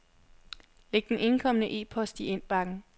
Læg den indkomne e-post i indbakken.